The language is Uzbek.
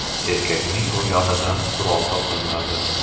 Erkakning yonidan qurol topilmadi.